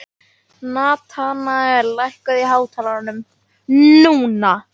Natanael, lækkaðu í hátalaranum.